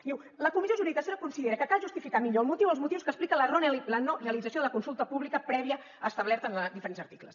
diu la comissió jurídica assessora considera que cal justificar millor el motiu o els motius que expliquen la no realització de la consulta pública prèvia establerta en diferents articles